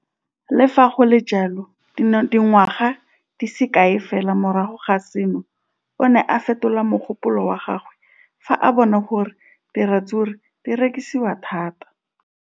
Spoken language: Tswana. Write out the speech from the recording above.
Le fa go le jalo, dingwaga di se kae fela morago ga seno, o ne a fetola mogopolo wa gagwe fa a bona gore diratsuru di rekisiwa thata.